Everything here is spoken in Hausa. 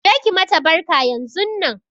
Je ki mata barka yanzunnan!